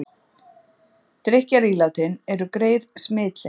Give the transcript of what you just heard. Drykkjarílátin eru greið smitleið